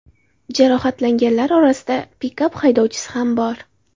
Jarohatlanganlar orasida pikap haydovchisi ham bor.